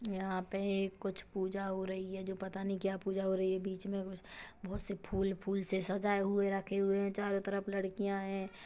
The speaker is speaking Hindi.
यहाँ पे कुछ पूजा हो रही है जो पता नहीं क्या पूजा हो रही है बीच में कुछ बहुत से फूल फूल से सजाये हुए रखे हैं चारों तरफ लड़कियाँ है।